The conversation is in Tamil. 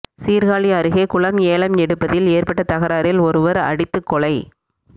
சீர்காழி அருகே குளம் ஏலம் எடுப்பதில் ஏற்பட்ட தகராறில் ஒருவர் அடித்துக் கொலை